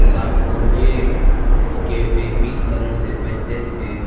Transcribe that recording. Shop और ये cafe pink colour से पेंटेड है।